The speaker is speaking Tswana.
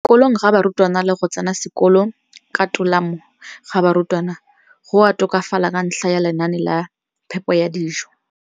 kolong ga barutwana le go tsena sekolo ka tolamo ga barutwana go a tokafala ka ntlha ya lenaane la phepo ya dijo.